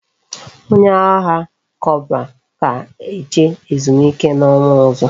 Onye agha corporal ga eje ezumike na onwa ozo